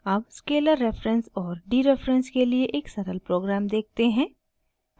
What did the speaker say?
अब scalar reference और dereference के लिए एक सरल प्रोग्राम देखते हैं